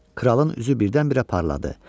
Kralın üzü birdən-birə parladı.